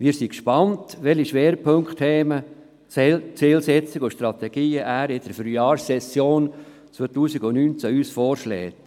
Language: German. Wir sind gespannt zu erfahren, welche Schwerpunktthemen, Zielsetzungen und Strategien er uns in der Frühlingssession 2019 vorschlägt.